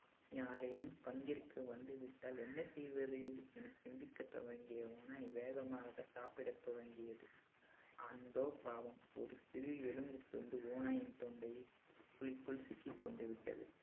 யாரேனும் பங்கிற்கு வந்துவிட்டால் என்ன செய்வது என சிந்திக்கத் துவங்கிய ஓநாய் வேகமாக சாப்பிட துவங்கியது. அந்தோ பாவம் ஒரு சிறு எலும்புத்துண்டு ஓநாயின் தொண்டைக்குழிக்குள் சிக்கிக்கொண்டு விட்டது